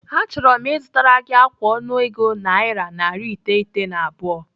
Achọrọ m ịzụtara gị ákwà ọnụego naira narị iteghete na abụọ.